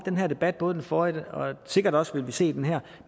her debat både den forrige og sikkert også vil vi se i den her